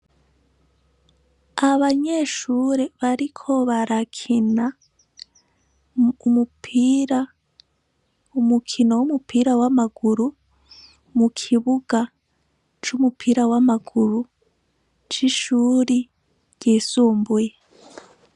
Abanyeshure bariko barakena umupira umukino w'umupira w'amaguru mu kibuga c'umupira w'amaguru c'ishuri ryisumbuye.